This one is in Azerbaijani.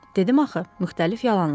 Dedim axı, müxtəlif yalanlar.